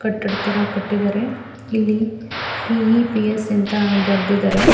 ಕಟ್ಟಡ ತರ ಕಟ್ಟಿದ್ದಾರೆ ಇಲ್ಲಿ ಪಿ.ಈ.ಪಿ.ಎಸ್. ಅಂತ ಬರೆದಿದ್ದಾರೆ .